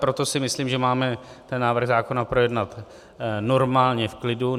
Proto si myslím, že máme ten návrh zákona projednat normálně v klidu.